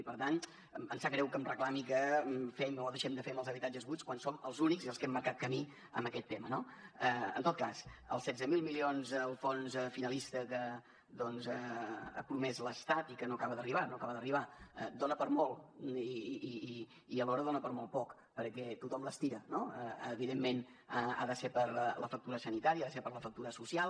i per tant em sap greu que em reclami que fem o deixem de fer amb els habitatges buits quan som els únics i els que hem marcat camí en aquest tema no en tot cas els setze mil milions del fons finalista que ha promès l’estat i que no acaba d’arribar no acaba d’arribar dona per a molt i alhora dona per a molt poc perquè tothom l’estira no evidentment ha de ser per la factura sanitària ha de ser per la factura social